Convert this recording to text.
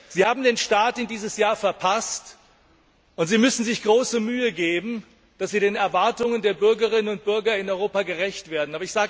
Sie haben den Start in dieses Jahr verpasst, und Sie müssen sich große Mühe geben, dass Sie den Erwartungen der Bürgerinnen und Bürger in Europa gerecht werden!